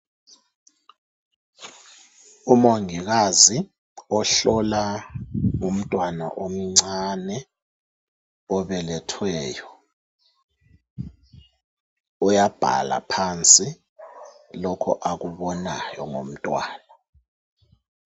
Umongikazi ohlola umntwana omncane obelethweyo uyabhala phansi lokho akubonayo ngomntwana.